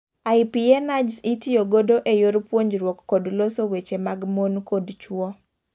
IPA nudges itiyo godo e yor puonjruok kod loso weche mag mon kod chuo